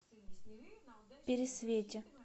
пересвете